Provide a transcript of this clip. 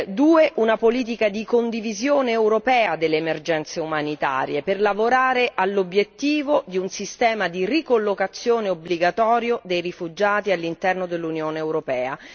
2 Una politica di condivisione europea delle emergenze umanitarie per lavorare all'obiettivo di un sistema di ricollocazione obbligatorio dei rifugiati all'interno dell'Unione europea.